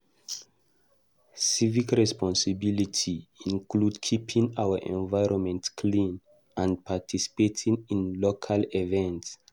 Civic responsibility include keeping our environment clean and participating in local events.